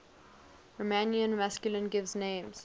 romanian masculine given names